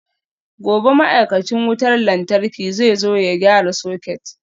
Gobe ​​ma'aikacin wutar lantarki zai zo ya gyara soket